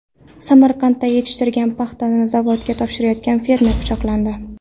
Samarqandda yetishtirgan paxtasini zavodga topshirayotgan fermer pichoqlandi.